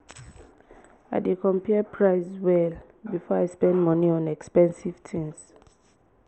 i dey compare price well before i spend money on expensive things.